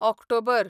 October